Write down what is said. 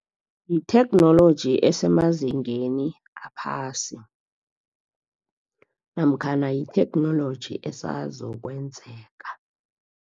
Yitheknoloji esemazingeni aphasi namkhana yitheknoloji esazokwenzeka.